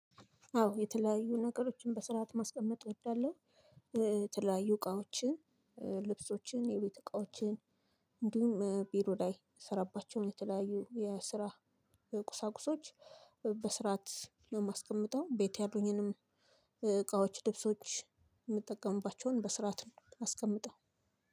አዎ የተለያዩ ነገሮችን በስርዓት ማስቀመጥ እወዳለሁ። የተለያዩ እቃዎችን ልብሶችን የቤት እቃዎችን እንዲሁም ቢሮ ላይ የምስራባቸውን የተለያዩ የስራ ቁሳቁሶች በስርዓት ነው የማስቀምጠው። ቤት ያሉኝንም እቃዎች ልብሶች የምጠቀምባቸውን በስርዓት ነው ማስቀምጠው።